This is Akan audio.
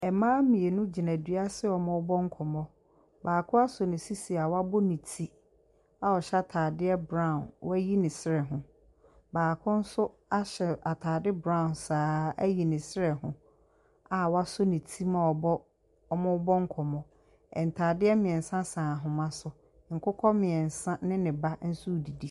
Mmaa mmienu gyina adua ase wɔrebɔ nkɔmmɔ. Baako asɔ ne sisi a wabɔ ne ti a ɔhyɛ ataadeɛ bron. Wayi ne srɛ ho. Baako ahyɛ atade brown saa ara ayi srɛ ho a wasɔ ne mu a bɔ Wɔn rebɔ nkɔmmɔ. Ntoma mmiɛnsa sɛn ahmaa so. Nkokɔ mmiɛnsa ne ne ba nso redidi.